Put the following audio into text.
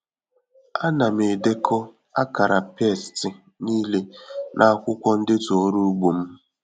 Ana m edekọ akara pesti niile n'akwụkwọ ndetu ọrụ ugbo m.